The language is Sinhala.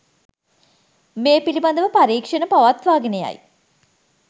මේ පිළිබඳව පරීක්‌ෂණ පවත්වාගෙන යයි